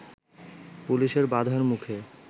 পুলিশের বাধার মুখে